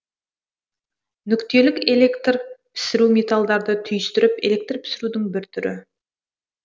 нүктелік электр пісіру металдарды түйістіріп электрпісірудің бір түрі